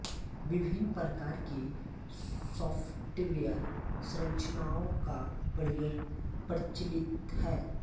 विभिन्न प्रकार की सॉफ्टवेयर संरचनाओं का प्रयोग प्रचलित है